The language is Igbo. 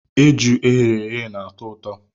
Eju e ghere eghe na-atọ ụtọ.